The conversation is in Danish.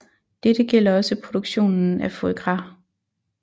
Dette gælder også produktionen af foie gras